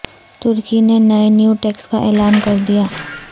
ترکی نے نئے new tax کا اعلان کر دیا